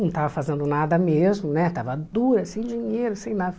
Não estava fazendo nada mesmo né, estava dura, sem dinheiro, sem nada.